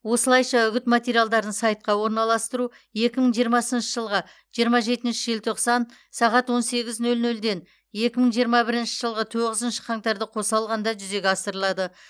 осылайша үгіт материалдарын сайтқа орналастыру екі мың жиырмасыншы жылғы жиырма жетінші желтоқсан сағат он сегіз нөл нөлден екі мың жиырма бірінші жылғы тоғызыншы қаңтарды қоса алғанда жүзеге асырылады